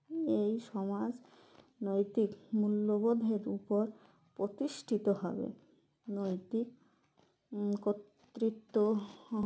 এই সমাজ নৈতিক মূল্যবোধের উপর প্রতিষ্ঠিত হবে নৈতিক কতৃত্ব হ